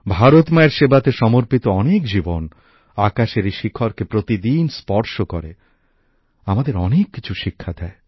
ভারত মাতার সেবাতে সমর্পিত অনেক জীবন আকাশের এই শিখরকে প্রতিদিন স্পর্শ করে আমাদের অনেক কিছু শিক্ষা দেয়